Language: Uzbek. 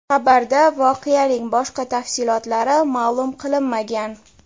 Xabarda voqeaning boshqa tafsilotlari ma’lum qilinmagan.